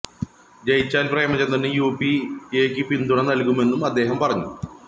ജയിച്ചാല് പ്രേമചന്ദ്രന് യു പി എക്ക് പിന്തുണ നല്കുമെന്നും അദ്ദേഹം പറഞ്ഞു